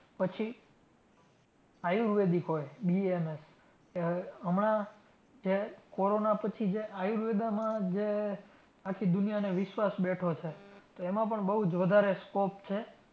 પછી આયુર્વેદિક હોય BAMS જે હવે હમણાં જે કોરોના પછી જે આયુર્વેદામાં જે આખી દુનિયાને વિશ્વાસ બેઠો છે તો એમાં પણ બઉ જ વધારે scope છે.